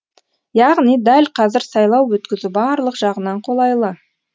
яғни дәл қазір сайлау өткізу барлық жағынан қолайлы